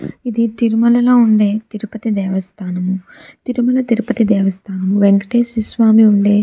ఇది తిరుమలలో ఉండే తిరుపతి తిరుమల దేవస్థానం. తిరుమల తిరుపతి దేవస్థానం వెంకటేశ్వర స్వామి ఉండే --